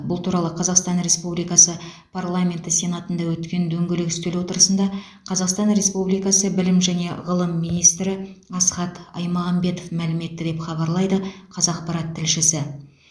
бұл туралы қазақстан республикасы параменті сенатында өткен дөңгелек үстел отырысында қазақстан республикасы білім және ғылым министрі асхат аймағамбетов мәлім етті деп хабарлайды қазақпарат тілшісі